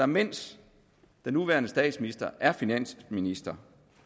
mens den nuværende statsminister er finansminister